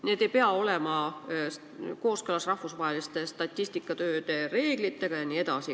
Need ei pea olema kooskõlas rahvusvaheliste statistikatöö reeglitega jne.